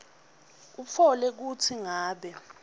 utfole kutsi ngabe